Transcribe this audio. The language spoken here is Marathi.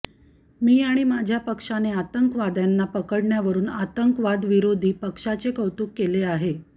मी आणि माझ्या पक्षाने आतंकवाद्यांना पकडण्यावरून आतंकवादविरोधी पक्षाचे कौतुक केले आहे